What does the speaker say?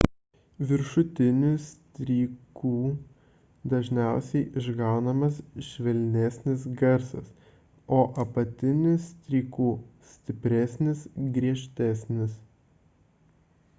viršutiniu stryku dažniausiai išgaunamas švelnesnis garsas o apatiniu stryku – stipresnis griežtesnis